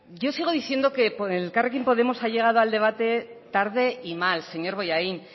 yo sigo diciendo que por elkarrekin podemos ha llegado al debate tarde y mal señor bollain